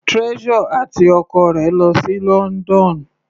Treasure àti ọkọ rẹ̀ lọ sí London.